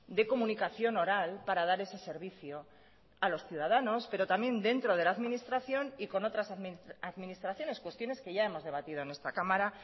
de comunicación oral para dar ese servicio a los ciudadanos pero también dentro de la administración y con otras administraciones cuestiones que ya hemos debatido en esta cámara